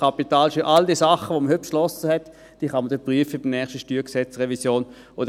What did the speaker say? Kapitalsteuer, all die Dinge, welche heute beschlossen wurden, kann man bei der nächsten StG-Revision prüfen.